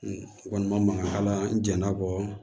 O kɔni ma mankan ala n'a kɔ